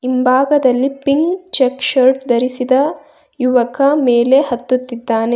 ಹಿಂಭಾಗದಲ್ಲಿ pink check shirt ಧರಿಸಿದ ಯುವಕ ಮೇಲೆ ಹತ್ತುತ್ತಿದ್ದಾನೆ.